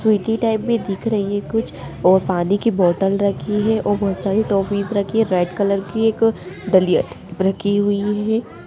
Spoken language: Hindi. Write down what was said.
टाइप भी दिख रही है कुछ और पानी की बोतल रही हैं बहुत सारी टॉफीज रखी हैं रेड कलर की एक डलियां रखी हैं।